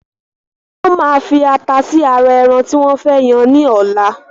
Wọn máa fi ata sì ara ẹran tí wọn fẹ yàn ni ọ̀la